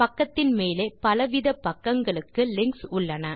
பக்கத்தின் மேலே பல வித பக்கங்களுக்கு லிங்க்ஸ் உள்ளன